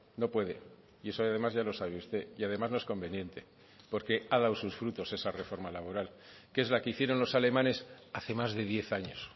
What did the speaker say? no puede y eso además ya lo sabe usted y además no es conveniente porque ha dado sus frutos esa reforma laboral que es la que hicieron los alemanes hace más de diez años